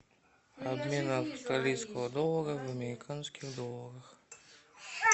обмен австралийского доллара в американских долларах